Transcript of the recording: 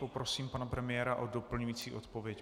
Poprosím pana premiéra o doplňující odpověď.